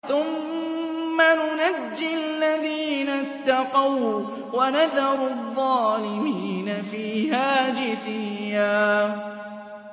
ثُمَّ نُنَجِّي الَّذِينَ اتَّقَوا وَّنَذَرُ الظَّالِمِينَ فِيهَا جِثِيًّا